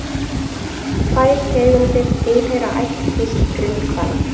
Tvær tegundir tilheyra ættkvísl grindhvala.